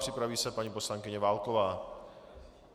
Připraví se paní poslankyně Válková.